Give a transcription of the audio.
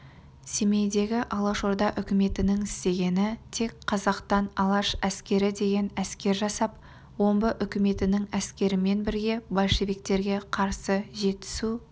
семейдегі алашорда үкіметінің істегені тек қазақтан алаш әскері деген әскер жасап омбы үкіметінің әскерімен бірге большевиктерге қарсы жетісу